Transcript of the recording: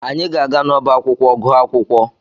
Anyị ga-aga n'ọba akwụkwọ gụọ akwụkwọ.